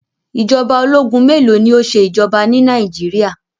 Ìjọba ológun mélòó ni ó ṣe ìjọba ni Nàìjíríà?